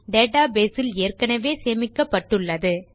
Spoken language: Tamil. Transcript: டேட்டா பேஸ் இல் ஏற்கெனெவே சேமிக்கப்பட்டுள்ளது